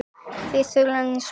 Fyrri þulan er svona